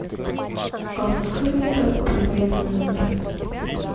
а пускай администратор перезвонит в мой номер